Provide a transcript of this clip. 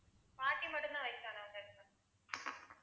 பாட்டி மட்டும்தான் வயசானவங்க